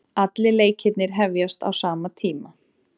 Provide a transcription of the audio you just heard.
Allir leikirnir hefjast á sama tíma